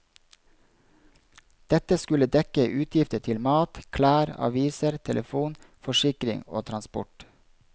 Dette skulle dekke utgifter til mat, klær, aviser, telefon, forsikring og transport.